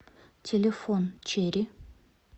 телефон черри